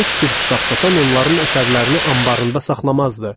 Heç bir kitab satan onların əsərlərini anbarında saxlamazdı.